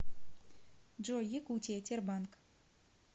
джой якутия тербанк